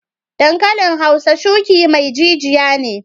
Dankalin hausa shuki mai jijiya ne.